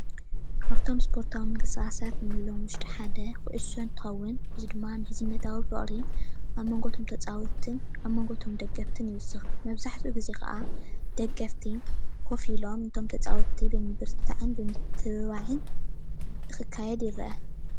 ካብእቶም እስፖርታዊ ምንቅስቃሳት እንብሎም ውሽጢ ሓደ ኩሶዕ እንትከውን እዚ ድማ ምሕዝነታዊ ፍቅሪ ኣብ መንጎ እቶም ተፃወትን ኣብ መንጎ እቶም ደገፍትን ይውስክ፡፡ መብዛሕትኡ ግዜ ከዓ ደገፍቲ ከፍ ኦሎም እቶም ተፃወትቲ ብምብርትታዕን ብምትብባዕን ክካየድ ይረአ፡፡